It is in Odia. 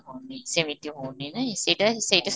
ହଉନି ସେମିତି ହଉନି ନାଇଁ, ସେଇଟା ସେଇଟା